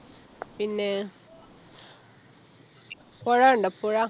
പിന്നെ പൊഴ കണ്ടോ പുഴ